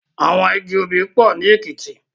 Awòn igi óbì pò ni Ekiti